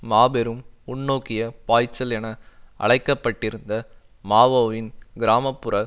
மாபெரும் முன்னோக்கிய பாய்ச்சல் என அழைக்க பட்டிருந்த மாவோவின் கிராம புற